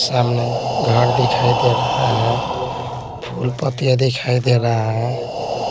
सामने घर दिखाई दे रहा है फूलपत्तियां दिखाई दे रहा है।